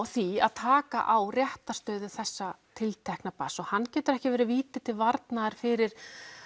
því að taka á réttarstöðu þessa barns hann getur ekki verið víti til varnar fyrir